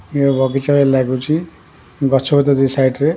ଇଏ ବଗିଚା ଭଳି ଲାଗୁଛି ଗଛପତ୍ର ଅଛି ସାଇଟ ରେ ।